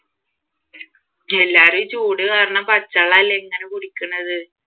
എല്ലാവരും ഈ ചൂട് കാരണം പച്ചവെള്ളം അല്ലെ ഇങ്ങനെ കുടിക്ക്ണത്